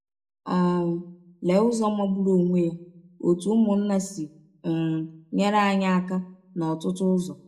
um Lee ụzọ magbụrụ ọnwe ya ‘ ọ̀tụ ụmụnna ’ si um nyere anyị aka n’ọtụtụ ụzọ!